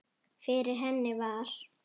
Fyrir henni var